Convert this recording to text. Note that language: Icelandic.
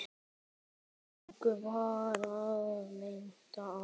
Engum varð meint af.